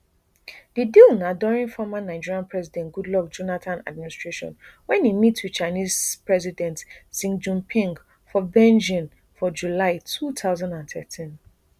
di deal na during former nigerian president goodluck jonathan administration wen e meet wit chinese president xi jinping for beijing for july two thousand and thirteen